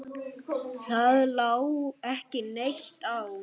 Það lá ekki neitt á.